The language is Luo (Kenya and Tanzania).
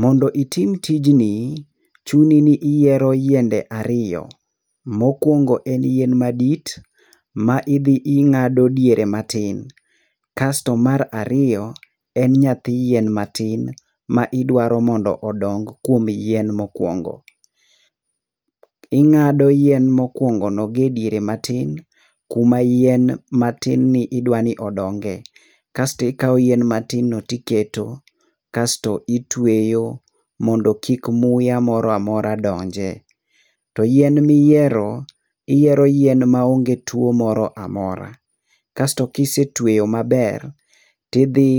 Mondo itim tijni, chuni ni iyiero yiende ariyo. Mokuongo en yien madit, ma idhi ing'ado diere matin. Kas to mar ariyo, en nyathi yien matin ma idwaro mondo odong kuom yien mokuongo. Ing'ado yien mokuongono gi ediere matin, kuma yien matin ni idwa ni odonge. Kas to ikawo yien matin no tiketo, kas to ituweyo mondo kik muya moro amora donje. To yien ma iyiero, iyiero yien maonge tuo moro amora. Kas to kise tueyo maber, tidhi